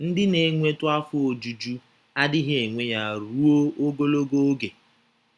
Ndị na - enwetụ afọ ojuju adịghị enwe ya ruo ogologo oge.